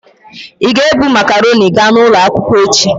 Ị ga-ebu makarọnị ga n'ụlọ akwụkwọ echi?